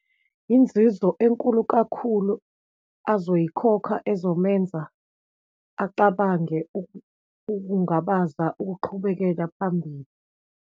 Inzuzo enkulu kakhulu azoyikhokha ezomenza acabange ukungabaza ukuqhubekela phambili.